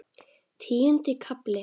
Tíundi kafli